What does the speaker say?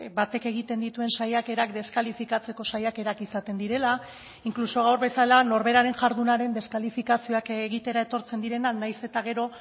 batek egiten dituen saiakerak deskalifikatzeko saiakerak izaten direla incluso gaur bezala norberaren jardunaren deskalifikazioak egitera etortzen direnak nahiz eta gero